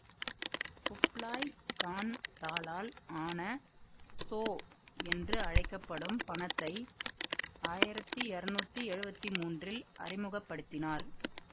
Kublai Khan தாளால் ஆன சோ என்று அழைக்க படும் பணத்தை ஆயிரத்தி இரநூத்தி எழுவத்தி மூன்றில் அறிமுக படுத்தினார்